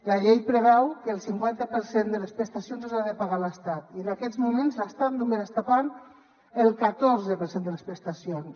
la llei preveu que el cinquanta per cent de les prestacions les ha de pagar l’estat i en aquests moments l’estat només pagant el catorze per cent de les prestacions